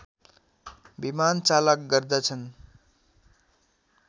विमानचालक गर्दछन्